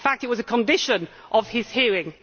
In fact it was a condition of his hearing.